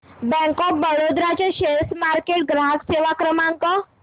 bank of Baroda चा share market ग्राहक सेवा क्रमांक